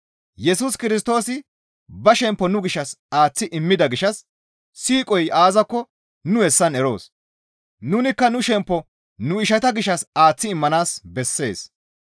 Yesus Kirstoosi ba shemppo nu gishshas aaththi immida gishshas siiqoy aazakko nu hessan eroos; nunikka nu shemppo nu ishata gishshas aaththi immanaas bessees.